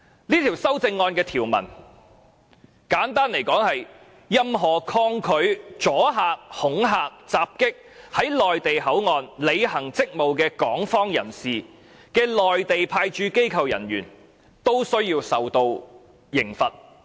這項修正案的條文，簡單來說是任何抗拒、阻礙、恐嚇、襲擊在內地口岸區履行職務的港方人士的內地派駐機構人員，均須受到懲罰。